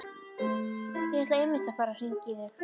Ég ætlaði einmitt að fara að hringja í þig.